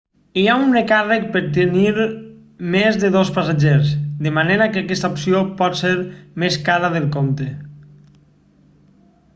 hi ha un recàrrec per tenir més de dos passatgers de manera que aquesta opció pot ser més cara del compte